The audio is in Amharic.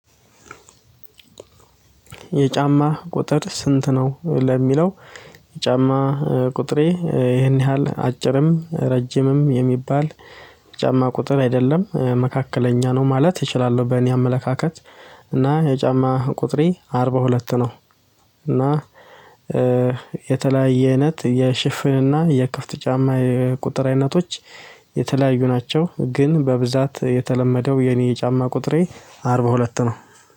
የጫማ ቁጥር ስንት ነው? ለሚለው የጫማ ቁጥሬ ይሄን ያህል አጭርም ረጅምም የሚባል ጫማ ቁጥር አይደለም። መካከለኛ ነው ማለት እችላለሁ። በእኔ አመለካከት እና የጫማ ቁጥሬ አርባ ሁለት ነው። እና የተለያየ አይነት የሽፍንና የክፍት ጫማ የቁጥር አይነቶች የተለያዩ ናቸው። ግን በብዛት የተለመደው የኔ የጫማ ቁጥሬ አርባ ሁለት ነው።